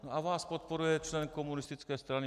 A vás podporuje člen komunistické strany.